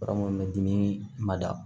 Bara minnu bɛ dimi ma da